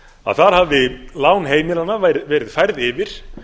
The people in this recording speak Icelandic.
að þar hafi lán heimilanna verið færð yfir